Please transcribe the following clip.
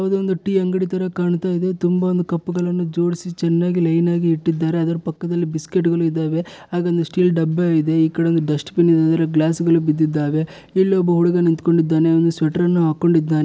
ಯಾವುದೊಂದು ಟೀ ಅಂಗಡಿ ತರ ಕಾಣ್ತಾ ಇದೆ ತುಂಬಾ ಒಂದು ಕಪ್ ಗಳ್ನ ಜೋಡಿಸಿ ಚೆನ್ನಾಗಿ ಲೈನ್ ಗಿ ಇಟ್ಟಿದ್ದಾರೆ ಅದರ ಪಕ್ಕದಲ್ಲಿ ಬಿಸ್ಕೆಟ್ ಗಳು ಇದ್ದಾವೆ ಹಾಗೆ ಒಂದು ಸ್ಟೀಲ್ ಡಬ್ಬ ಇದೆ ಈ ಕಡೆ ಒಂದು ಡಸ್ಟ್ಬಿನ್ ಇದೆ ಅದರಲ್ಲಿ ಗ್ಲಾಸ್ಗಳು ಬಿದ್ದಿದ್ದಾವೆ ಇಲ್ಲಿ ಒಬ್ಬ ಹುಡುಗ ನಿಂತ್ಕೊಂಡಿದ್ದಾನೆ ಅವನು ಸ್ವೆಟರ್ ಅನ್ನು ಹಾಕೊಂಡಿದ್ದಾನೆ.